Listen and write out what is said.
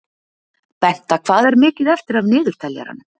Benta, hvað er mikið eftir af niðurteljaranum?